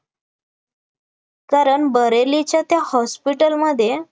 कारण बरेलीच्या त्या hospital मध्ये